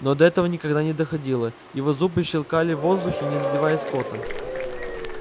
но до этого никогда но доходило его зубы щёлкали в воздухе не задевая скотта